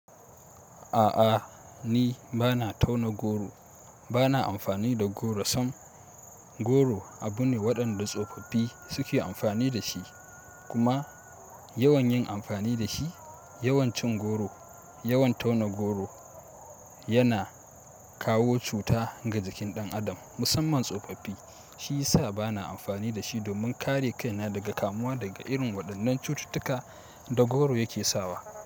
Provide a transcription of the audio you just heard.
A'a ni bana tauna goro, bana amfani da goro sam goro abu ne waɗanda tsofaffi suke amfani da shi kuma, yawan yin amfani da shi, yawan cin goro, yawan tauna goro yana kawo cuta ga jikin ɗan adam musamman tsofaffi shiyasa bana amfani da shi domin kare kaina daga kamuwa daga irin waɗannan cututtuka da goro yake sawa.